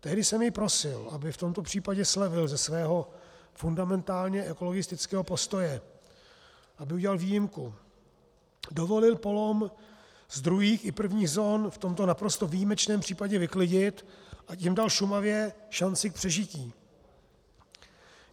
Tehdy jsem jej prosil, aby v tomto případě slevil ze svého fundamentálně ekologistického postoje, aby udělal výjimku, dovolil polom z druhých i prvních zón v tomto naprosto výjimečném případě vyklidit, a tím dal Šumavě šanci k přežití.